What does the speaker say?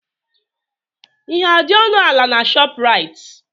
Ihe adị ọnụ ala na Shọpraịt?